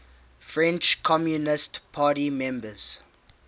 french communist party members